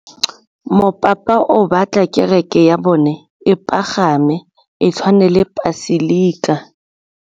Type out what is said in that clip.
Mopapa o batla kereke ya bone e pagame, e tshwane le paselika.